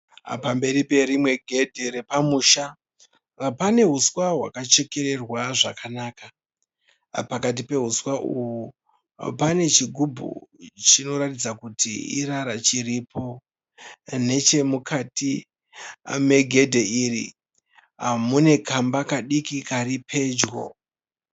Pamberi perimwe gedhe repamusha pane huswa hwakachekererwa zvakanaka. Pakati pehuswa uhwu pane chigubhu chinoratidza kutí irara chiripo. Nechemukati megedhe iri mune kamba kadiki kàri pedyo.